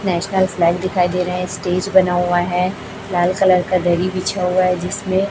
National flag दिखाई दे रहा है। स्टेज बना हुआ है। लाल कलर का दरी बिछा हुआ है जिसमे --